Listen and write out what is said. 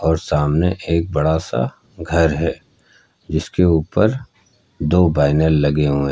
और सामने एक बड़ा सा घर है जिसके ऊपर दो बैनल लगे हुए है।